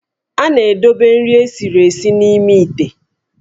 A na-edobe nri esiri esi n'ime íté